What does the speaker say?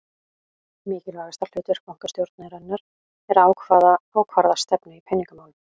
Mikilvægasta hlutverk bankastjórnarinnar er að ákvarða stefnu í peningamálum.